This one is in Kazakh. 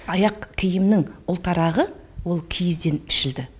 аяқ киімнің ұлтарағы ол киізден пішілді